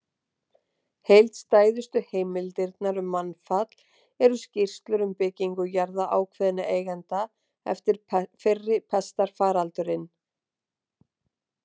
Heildstæðustu heimildirnar um mannfall eru skýrslur um byggingu jarða ákveðinna eigenda eftir fyrri pestarfaraldurinn.